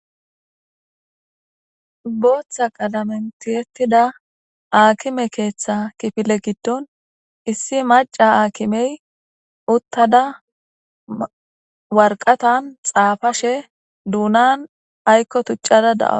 booththa qalamentiyettida aakime keeththa kifile giddon issi maca aakimey uttada warqatan xaafashe duunan aykko tuccada daa